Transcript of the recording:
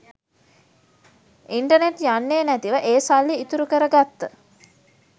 internet යන්නෙ නැතිව ඒ සල්ලි ඉතුරු කර ගත්ත